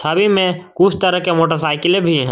छवि में कुछ तरह के मोटरसाइकिलें भी हैं।